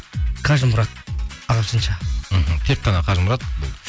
қажымұрат ағылшынша мхм тек қана қажымұрат